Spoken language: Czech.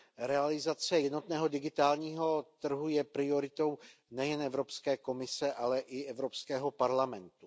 Realizace jednotného digitálního trhu je prioritou nejen Evropské komise, ale i Evropského parlamentu.